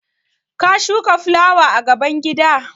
Ka shuka fulawa gaban gida?